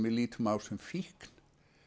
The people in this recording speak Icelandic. lítum á sem fíkn